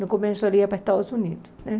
No começo ali era para Estados Unidos, né?